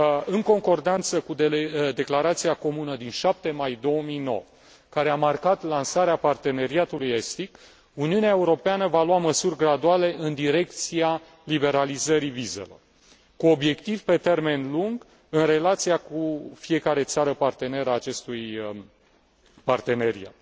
În concordanță cu declarația comună din 7 mai 2009 care a marcat lansarea parteneriatului estic, Uniunea Europeană va lua măsuri graduale în direcția liberalizării vizelor, cu obiectiv pe termen lung în relația cu fiecare țară parteneră a acestui parteneriat.